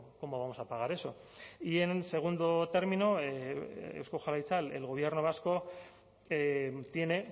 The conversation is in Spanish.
cómo vamos a pagar eso y en segundo término eusko jaurlaritza el gobierno vasco tiene